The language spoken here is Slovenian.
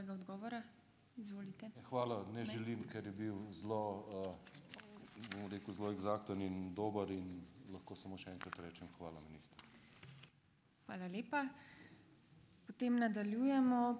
Hvala. Ne želim, ker je bil zelo, bom rekel, zelo eksakten in dober in lahko samo še enkrat rečem, hvala, minister.